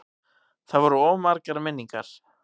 Það voru of margar minningar.